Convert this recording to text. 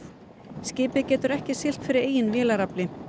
skipið getur ekki siglt fyrir eigin vélarafli